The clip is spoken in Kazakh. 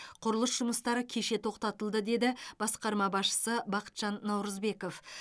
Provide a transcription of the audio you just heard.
құрылыс жұмыстары кеше тоқтатылды деді басқарма басшысы бақытжан наурызбеков